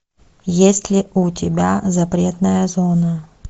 есть ли у тебя запретная зона